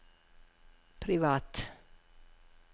privat